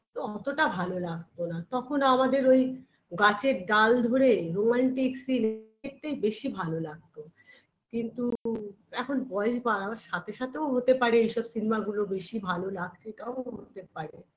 তো অতটা ভালো লাগতো না তখন আমাদের ওই গাছের ডাল ধরে romantic scene দেখতে বেশি ভালো লাগতো কিন্তু এখন বয়স বাড়ার সাথে সাথেও হতে পারে এইসব cinema -গুলো বেশি ভালো লাগছে এটাও হতে পারে